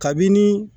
Kabini